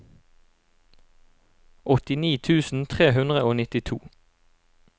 åttini tusen tre hundre og nittito